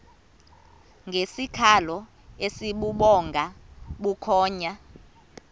ngesikhalo esibubhonga bukhonya